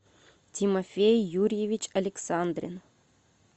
тимофей юрьевич александрин